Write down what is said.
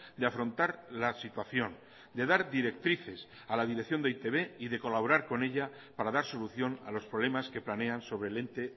de afrontar la situación de dar directrices a la dirección de e i te be y de colaborar con ella para dar solución a los problemas que planean sobre el ente